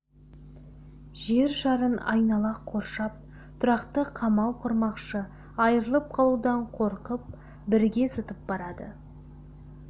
жер шарын айнала қоршап тұрақты қамал құрмақшы айырылып қалудан қорқып бірге зытып барады